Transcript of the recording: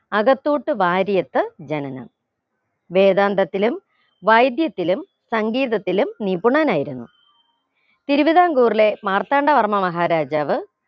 അകത്തൂത്ത് വാര്യത്ത് ജനനം വേദാന്തത്തിലും വൈദ്യത്തിലും സംഗീതത്തിലും നിപുണനായിരുന്നു തിരുവിതാംകൂറിലെ മാർത്താണ്ഡ വർമ്മ മഹാരാജാവ്